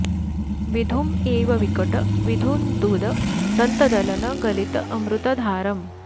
विधुम् इव विकट विधुन्तुद दन्त दलन गलित अमृत धारम्